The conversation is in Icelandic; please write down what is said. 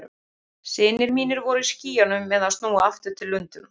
Synir mínir voru í skýjunum með að snúa aftur til Lundúna.